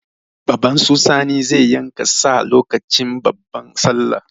Baban su Sani zai yanka sa lokacin babban sallah.